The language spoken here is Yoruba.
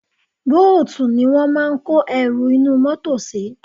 Bóòtù ni wọ́n máa ń kó ẹrù inú mọ́tọ̀ sí.